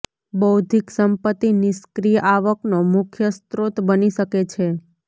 બૌદ્ધિક સંપત્તિ નિષ્ક્રિય આવકનો મુખ્ય સ્ત્રોત બની શકે છે